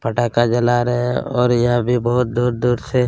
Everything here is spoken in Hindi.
पटाका जला रहै है और यह भी बहोत दूर-दूर से--